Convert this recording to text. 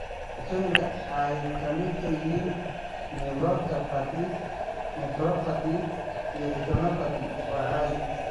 Dhibaatooyinka ay ka midka yihiin neuropathy, nephropathy, iyo retinopathy waa caadi.